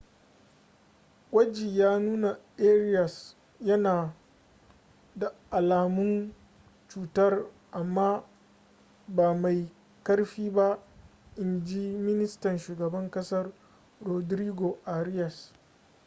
gwaji ya nuna arias yana da alamun cutar amma ba mai ƙarfi ba in ji ministan shugaban kasar rodrigo arias